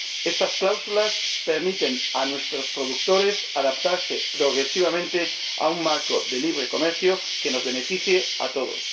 Estas cláusulas permiten a nuestros productores adaptarse progresivamente a un marco de libre comercio que nos beneficie a todos.